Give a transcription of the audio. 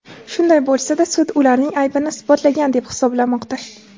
Shunday bo‘lsa-da, sud ularning aybini isbotlangan deb hisoblamoqda.